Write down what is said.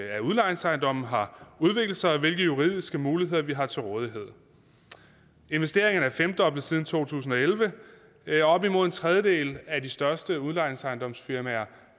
af udlejningsejendomme har udviklet sig og hvilke juridiske muligheder vi har til rådighed investeringerne er femdoblet siden to tusind og elleve elleve op imod en tredjedel af de største udlejningsejendomsfirmaer